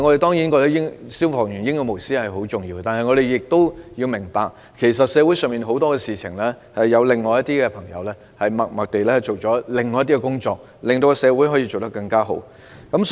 當然，我們亦認同消防員英勇無私的行為十分重要，但我們也要明白，社會上有很多事情是因為有另一些人默默地做了一些工作才得以順利完成。